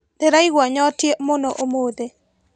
Ndĩraigua nyotie mũno ũmũthĩ.